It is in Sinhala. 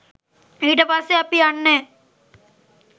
ඊට පස්සේ අපි යන්නේ